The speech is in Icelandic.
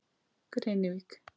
Grenivík